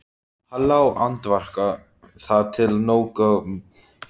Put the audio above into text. Hann lá andvaka þar til tók að morgna.